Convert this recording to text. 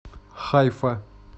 хайфа